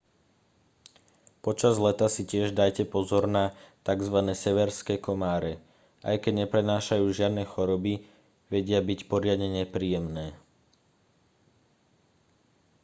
počas leta si tiež dajte pozor na tzv severské komáre aj keď neprenášajú žiadne choroby vedia byť poriadne nepríjemné